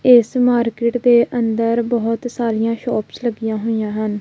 ਇਸ ਮਾਰਕੀਟ ਦੇ ਅੰਦਰ ਬਹੁਤ ਸਾਰੀਆਂ ਸ਼ੋਪਸ ਲੱਗੀਆਂ ਹੋਈਆਂ ਹਨ।